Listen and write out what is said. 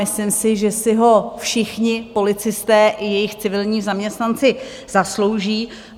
Myslím si, že si ho všichni policisté i jejich civilní zaměstnanci zaslouží.